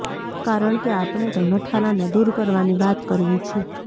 કારણ કે આપણે તો નઠારાંને દૂર કરવાની વાત કરવી છે